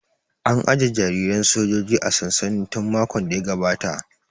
An aje jariran sojojin a sansani tun makon da ya gabata